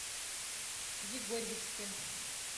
егорьевске